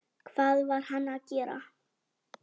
Hvað var hann að gera?